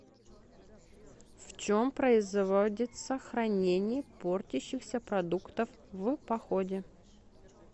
в чем производится хранение портящихся продуктов в походе